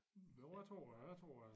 Jo jeg tror da jeg tror da